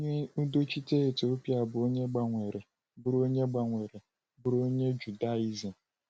Onye udochite Etiopịa bụ onye gbanwere bụrụ onye gbanwere bụrụ onye Judaizim.